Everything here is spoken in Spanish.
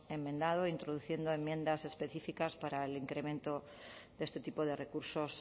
enmendado introduciendo enmiendas específicas para el incremento de este tipo de recursos